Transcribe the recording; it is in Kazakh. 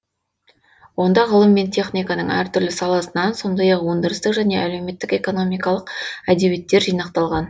онда ғылым мен техниканың әр түрлі саласынан сондай ақ өндірістік және әлеуметтік экономикалық әдебиеттер жинақталған